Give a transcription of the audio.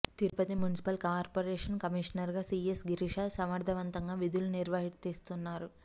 Tirupati municipal corporation కమిషనర్గా PS Girisha సమర్థవంతంగా విధులు నిర్వర్తిస్తున్నారు